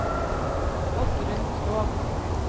Oddrun Krogh